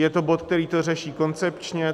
Je to bod, který to řeší koncepčně.